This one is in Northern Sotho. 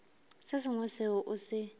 se sengwe seo o se